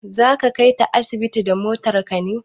Za ka kaita asibiti da motar ka ne?